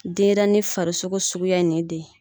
Denyɛrɛni farisogo suguya ni de ye.